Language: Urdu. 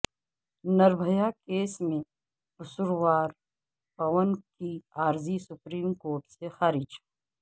نربھیا کیس میں قصوروار پون کی عرضی سپریم کورٹ سے خارج